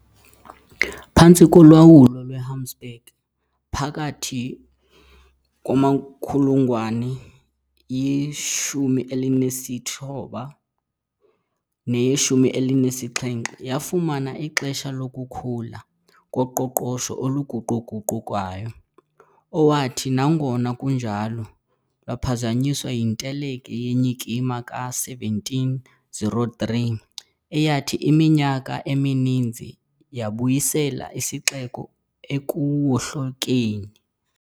Phantsi kolawulo lweHabsburg, phakathi kwamankulungwane ye-16 neye-17, yafumana ixesha lokukhula koqoqosho oluguquguqukayo olwathi, nangona kunjalo, lwaphazanyiswa yinteleki yenyikima ka-1703, eyathi iminyaka emininzi yabuyisela isixeko ekuwohlokeni.